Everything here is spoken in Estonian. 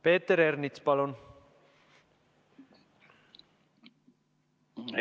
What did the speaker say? Peeter Ernits, palun!